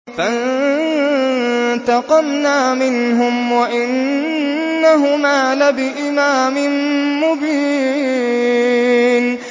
فَانتَقَمْنَا مِنْهُمْ وَإِنَّهُمَا لَبِإِمَامٍ مُّبِينٍ